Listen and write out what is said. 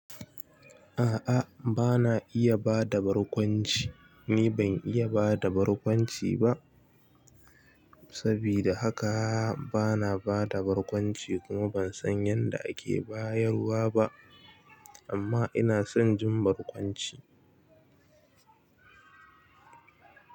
A'a bana iya bada barkwanci. Ni ban iya bada barkwanci ba saboda haka bana bada barkwanci kuma bansan yadda ake bayarwa ba amma inason jin barkwanci.